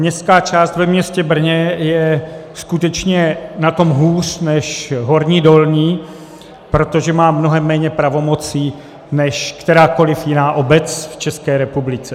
Městská část ve městě Brně je skutečně na tom hůř než Horní Dolní, protože má mnohem méně pravomocí než kterákoli jiná obec v České republice.